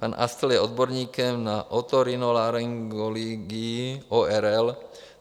Pan Astl je odborníkem na otorhinolaryngologii, ORL.